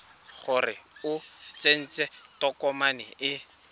gore o tsentse tokomane e